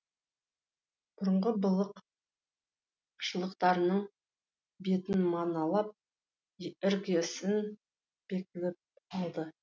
бұрынғы былық шылықтарының бетін маналап іргесін бекітіліп алды